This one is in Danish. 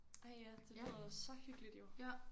Ej ja det lyder så hyggeligt jo